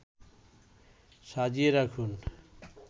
সাজিয়ে রাখুন